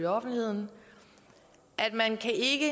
offentligheden at man ikke